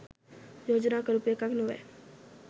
යෝජනා කරපු එකක් නොවැ.